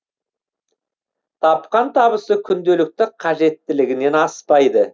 тапқан табысы күнделікті қажеттілігінен аспайды